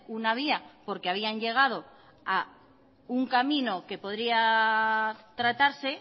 una vía porque habían llegado a un camino que podría tratarse